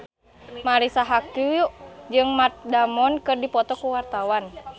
Marisa Haque jeung Matt Damon keur dipoto ku wartawan